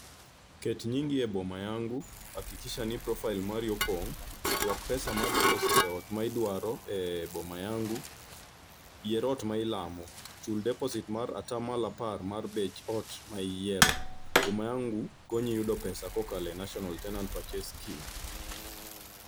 Ket nyingi e boma yangu, hakikisha ni profile mari opong', rwak pesa mar deposit e ot ma idwaro e boma yangu. Yer ot ma ilamo, chul deposit mar ata malo apar mar bech ot ma iyiero. Boma yangu konyi yudo pesa kokalo e tenant purchase scheme.